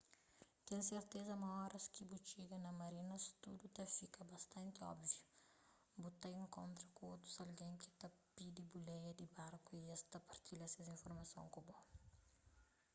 ten serteza ma óras ki bu txiga na marinas tudu ta fika bastanti óbviu bu ta inkontra ku otus algen ki ta pidi buleia di barku y es ta partilha ses informason ku bo